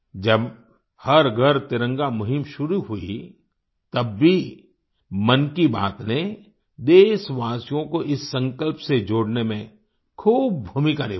जब हर घर तिरंगा मुहिम शुरू हुई तब भी मन की बात ने देशवासियों को इस संकल्प से जोड़ने में खूब भूमिका निभाई